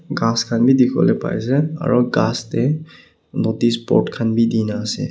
ghass khan bhi dikhibole pare ase aru ghass teh notice board khan bhi di na ase.